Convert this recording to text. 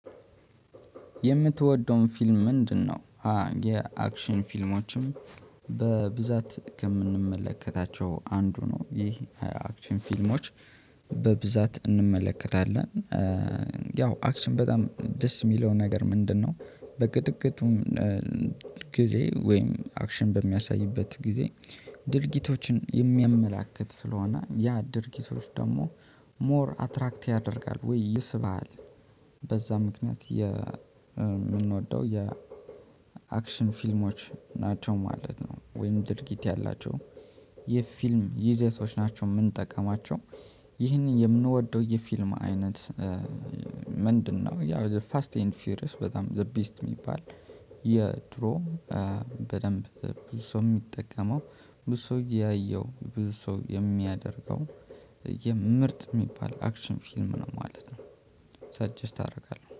የምትወደውን ፊልም ምንድነው? የአክሽን ፊልሞችም በብዛት ከምንመለከታቸው አንዱ ነው ይህ አክሽን ፊልሞች በብዛት እንመለከታለን። ያው አክሽን በጣም ደስ የሚለው ነገር ምንድነው? በቅጥቅጡም ጊዜ ወይም አክሽን በሚያሳይበት ጊዜ ድርጊቶችን የሚያመላክት ስለሆነ ያ ድርጊቶች ደግሞ ሞር አትራክት ያደርጋል ወይ ይስባል። በዛ ምክንያት የምንወደው የአክሽን ፊልሞች ናቸው ማለት ነው። ወይም ድርጊት ያላቸው የፊልም ይዘቶች ናቸው የምንጠቀማቸው። ይህንን የምንወደው የፊልም አይነት ምንድነው? ያ ዘ ፋስት ኤንድ ፊውሪየስ በጣም ዘ ቤስት የሚባል የድሮ በደንብ ብዙ ሰው የሚጠቀመው ብዙ ሰው ያየው ብዙ ሰው የሚያደርገው የምርጥ የሚባል አክሽን ፊልም ነው ማለት ነው። ሳጀስት አደርጋለሁ